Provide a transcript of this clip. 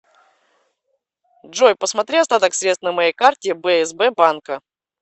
джой посмотри остаток средств на моей карте бсб банка